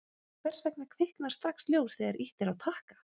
hvers vegna kviknar strax ljós þegar ýtt er á takka